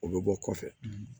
O bɛ bɔ kɔfɛ